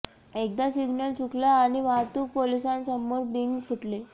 एकदा सिग्नल चुकला आणि वाहतूक पोलिसांसमोर बिंग फुटले